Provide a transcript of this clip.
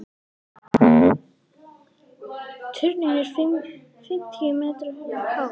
Turninn er fimmtíu metra hár.